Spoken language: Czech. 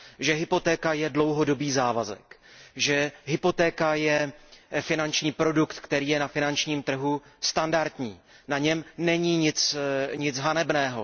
Že hypotéka je dlouhodobý závazek, že hypotéka je finanční produkt, který je na finačním trhu standardní, na něm není nic hanebného.